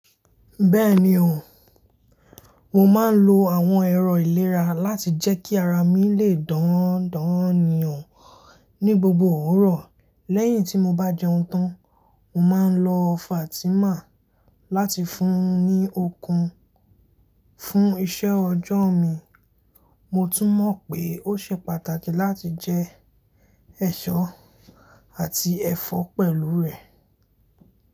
Bẹ́ẹ̀ni o, mo máa ń lo àwọn ẹ̀rọ ìlera láti jẹ́ kí ara mi lè dán dán ni o, ní gbogbo òwúrọ̀. Lẹ́yìn tí mo bá jẹun tán, mo máa ń lo Fatima láti fún un ní okun. Fún iṣẹ́ ọjọ́ mi, mo tún mọ̀ pé ó ṣe pàtàkì láti jẹ ẹṣọ àti ẹfọ pẹ̀lú rẹ̀.